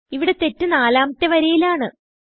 ഇവിടെ തെറ്റ് നാലാമത്തെ വരിയിലാണ്